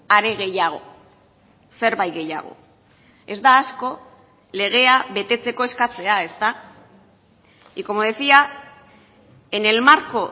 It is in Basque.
are gehiago zerbait gehiago ez da asko legea betetzeko eskatzea ezta y como decía en el marco